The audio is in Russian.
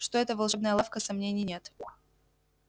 что это волшебная лавка сомнений нет